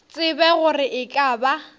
tsebe gore e ka ba